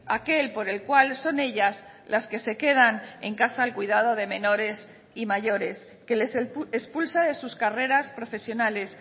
aquel por el cual son ellas las que se quedan en casa al cuidado de menores y mayores que les expulsa de sus carreras profesionales